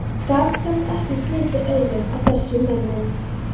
Gat samt ekki slitið augun af þessum mönnum.